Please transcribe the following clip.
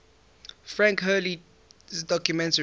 frank hurley's documentary